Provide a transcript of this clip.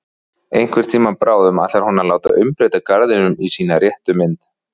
Einhvern tíma bráðum ætlar hún að láta umbreyta garðinum í sína réttu mynd.